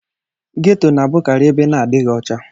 Ghetọ na-abụkarị ebe na adịghị ọcha.